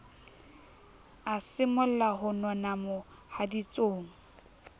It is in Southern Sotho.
a simolla ho nona mohaditsong